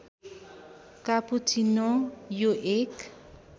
cappuccino यो एक